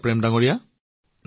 আপুনি নিজৰ কামৰ বিষয়ে